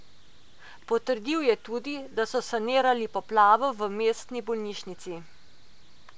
Potrdil je tudi, da so sanirali poplavo v mestni bolnišnici.